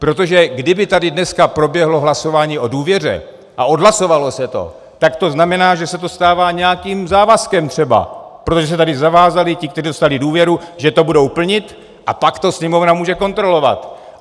Protože kdyby tady dneska proběhlo hlasování o důvěře a odhlasovalo se to, tak to znamená, že se to stává nějakým závazkem třeba, protože se tady zavázali ti, kteří dostali důvěru, že to budou plnit, a pak to Sněmovna může kontrolovat.